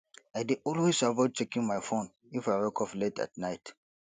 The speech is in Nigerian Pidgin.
i dey always avoid checking my phone if i wake up late at night